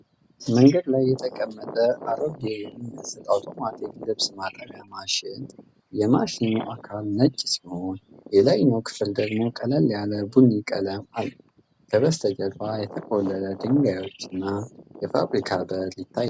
መንገድ ላይ የተቀመጠ አሮጌ የሚመስል አውቶማቲክ ልብስ ማጠቢያ ማሽን ። የማሽኑ አካል ነጭ ሲሆን የላይኛው ክፍል ደግሞ ቀለል ያለ ቡኒ ቀለም አለው። ከበስተጀርባ የተቆለሉ ድንጋዮችና የፋብሪካ በር ይታያሉ።